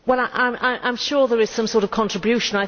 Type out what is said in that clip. I am sure there is some sort of contribution.